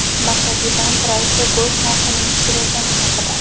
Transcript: Markaziy bank raisi go‘sht narxining tushirilgani haqida.